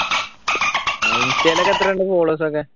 ഇൻസ്റ്റയിൽ എത്ര ഉണ്ട് followers ഒക്കെ